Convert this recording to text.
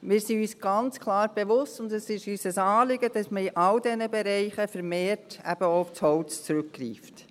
Wir sind uns ganz klar bewusst und es ist uns ein Anliegen, dass man in all diesen Bereichen vermehrt auch aufs Holz zurückgreift.